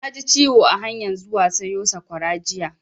Na ji ciwo a hanyan zuwa sayo sakwara jiya